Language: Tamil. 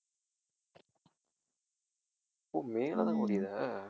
ஓ மேலதான் முடியுதா